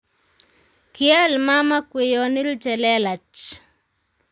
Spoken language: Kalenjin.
Kial mama kweyonil che lelach